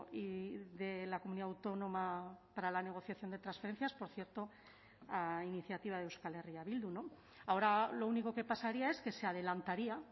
y de la comunidad autónoma para la negociación de transferencias por cierto a iniciativa de euskal herria bildu no ahora lo único que pasaría es que se adelantaría